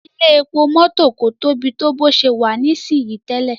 Ilé-epo mọ́tò kò Tobi to bó ṣe wá ní sìn tẹlẹ.